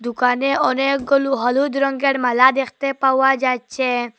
দোকানে অনেকগুলু হলুদ রঙ্গের মালা দেখতে পাওয়া যাচ্ছে।